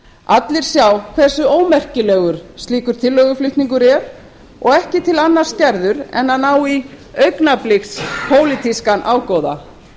allir sjá hversu ómerkilegur slíkur tillöguflutningur er og ekki til annars gerður en að ná í augnabliks pólitískan ágóða